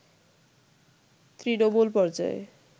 তৃণমূল পর্যায়ে